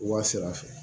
Wa sara fɛ